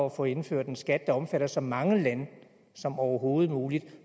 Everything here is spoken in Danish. at få indført en skat der omfatter så mange lande som overhovedet muligt